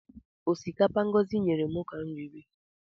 Ọsikapa Ngọzi nyere m ka m riri